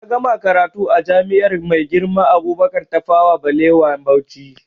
Na gama karatu a jami'ar Maigirma Abubakar Tafawa Ɓalewa Bauchi